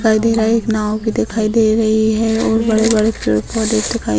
नदी है एक नाव भी दिखाई दे रही है और बड़े-बड़े पेड़-पौधे दिखाई --